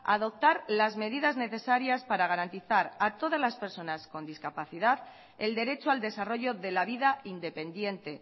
a adoptar las medidas necesarias para garantizar a todas las personas con discapacidad el derecho al desarrollo de la vida independiente